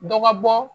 Dɔ ka bɔ